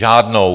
Žádnou.